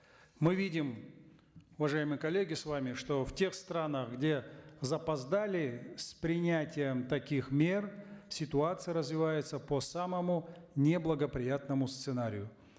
мы видим уважаемые коллеги с вами что в тех странах где запоздали с принятием таких мер ситуация развивается по самому неблагоприятному сценарию